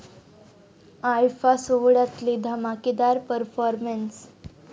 IIFA' सोहळ्यातले धमाकेदार performances